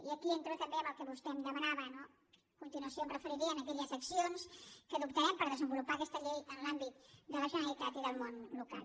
i aquí entro també en el que vostè em demanava no a continuació em referiré a aquelles accions que adoptarem per desenvolupar aquesta llei en l’àmbit de la generalitat i del món local